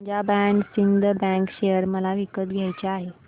Punjab and Sind bank share मला विकत घ्यायचे आहेत